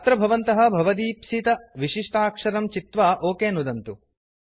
अत्र भवन्तः भवदीप्सितविशिष्टाक्षरं चित्वा ओक नुदन्तु